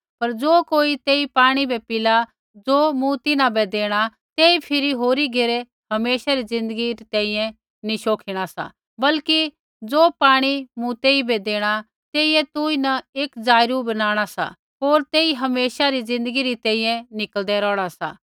पर ज़ो कोई तेई पाणी बै पिला ज़ो मूँ तिन्हां बै देणा तेई फिरी होरी घेरै हमेशे रै ज़िन्दगी तैंईंयैं नी शोखिणा सा बल्कि ज़े पाणी मूँ तेइबै देणा तेइयै तौईंन एक जाईरू बनाणा सा होर तेई हमेशा रै ज़िन्दगी तैंईंयैं निकल़दै रोहणा सा